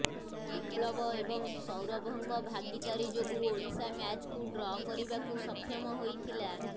ବିପ୍ଳବ ଏବଂ ସୌରଭଙ୍କ ଭାଗୀଦାରୀ ଯୋଗୁଁ ଓଡ଼ିଶା ମ୍ୟାଚ୍କୁ ଡ୍ର କରିବାକୁ ସକ୍ଷମ ହୋଇଥିଲା